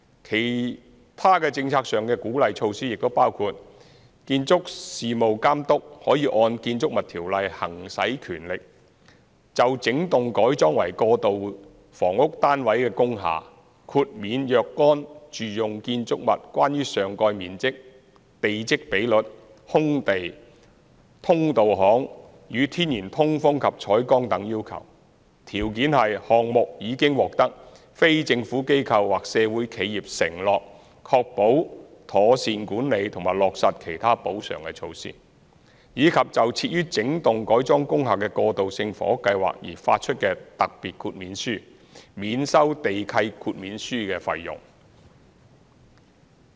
其他政策上的鼓勵措施亦包括建築事務監督可按《建築物條例》行使權力，就整幢改裝為過渡性房屋單位的工廈，豁免若干住用建築物關於上蓋面積、地積比率、空地、通道巷與天然通風及採光等要求，條件是項目已獲非政府機構或社會企業承諾確保妥善管理及落實其他補償措施，以及就設於整幢改裝工廈的過渡性房屋計劃而發出的特別豁免書，免收地契豁免書費用。